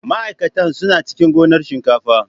Ma'aikatan suna cikin gonar shinkafa.